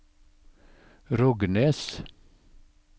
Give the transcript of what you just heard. Rognes